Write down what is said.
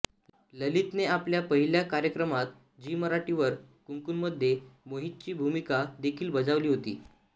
ललितने आपल्या पहिल्या कार्यक्रमात झी मराठी वर कुंकूमध्ये मोहितची भूमिका देखील बजावली होती